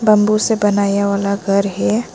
Bamboo से बनाया वाला घर है।